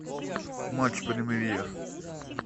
матч премьер